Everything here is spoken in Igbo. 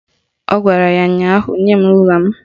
Ọ gwara ya ụnyaahụ "Nye m rula m"